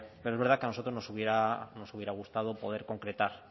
pero es verdad que a nosotros nos hubiera gustado poder concretar